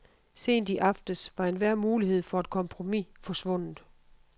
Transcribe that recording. Sent i aftes var enhver mulighed for et kompromis forsvundet.